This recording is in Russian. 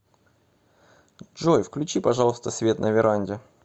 джой включи пожалуйста свет на веранде